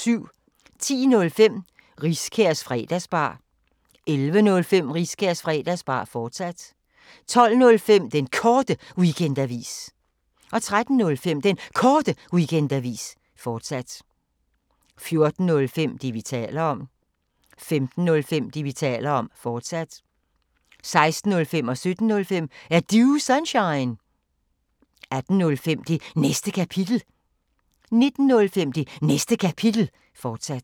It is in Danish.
10:05: Riskærs Fredagsbar 11:05: Riskærs Fredagsbar, fortsat 12:05: Den Korte Weekendavis 13:05: Den Korte Weekendavis, fortsat 14:05: Det, vi taler om 15:05: Det, vi taler om, fortsat 16:05: Er Du Sunshine? 17:05: Er Du Sunshine? 18:05: Det Næste Kapitel 19:05: Det Næste Kapitel, fortsat